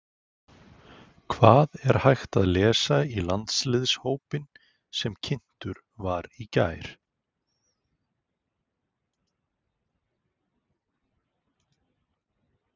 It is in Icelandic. Hvað er hægt að lesa í landsliðshópinn sem kynntur var í gær?